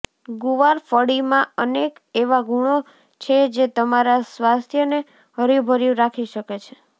ગુવાર ફળીમાં અનેક એવા ગુણો છે જે તમારા સ્વાસ્થ્યને હર્યુભર્યુ રાખી શકે છે